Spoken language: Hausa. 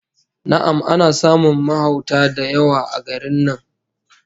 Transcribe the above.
Na'am, ana samun mahauta da yawa a garin nan